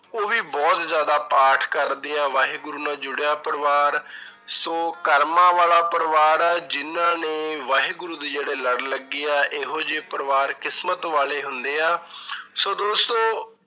ਉਹ ਵੀ ਬਹੁਤ ਜ਼ਿਆਦਾ ਪਾਠ ਕਰਦੇ ਆ ਵਾਹਿਗੁਰੂ ਨਾਲ ਜੁੜਿਆ ਪਰਿਵਾਰ ਸੋ ਕਰਮਾਂ ਵਾਲਾ ਪਰਿਵਾਰ ਆ, ਜਿਹਨਾਂ ਨੇ ਵਾਹਿਗੁਰੂ ਦੇ ਜਿਹੜੇ ਲੜ ਲੱਗੇ ਆ ਇਹੋ ਜਿਹੇ ਪਰਿਵਾਰ ਕਿਸਮਤ ਵਾਲੇ ਹੁੰਦੇ ਆ ਸੋ ਦੋਸਤੋ